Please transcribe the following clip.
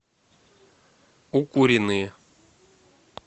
укуренные